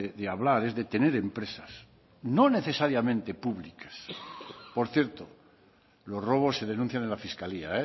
de hablar es de tener empresas no necesariamente públicas por cierto los robos se denuncian en la fiscalía